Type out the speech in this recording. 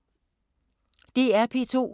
DR P2